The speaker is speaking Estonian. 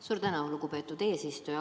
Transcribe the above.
Suur tänu, lugupeetud eesistuja!